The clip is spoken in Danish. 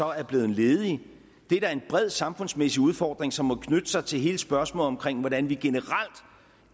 er blevet ledige det er da en bred samfundsmæssig udfordring som må knytte sig til hele spørgsmålet om hvordan vi generelt